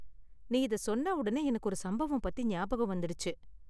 நீ இத சொன்னவுடனே எனக்கு ஒரு சம்பவம் பத்தி ஞாபகம் வந்திடுச்சு.